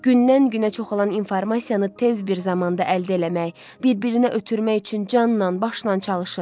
Gündən-günə çoxalən informasiyanı tez bir zamanda əldə eləmək, bir-birinə ötürmək üçün canla-başla çalışır.